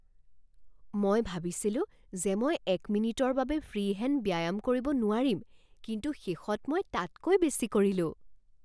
মই ভাবিছিলো যে মই এক মিনিটৰ বাবে ফ্ৰি হেণ্ড ব্যায়াম কৰিব নোৱাৰিম, কিন্তু শেষত মই তাতকৈ বেছি কৰিলো।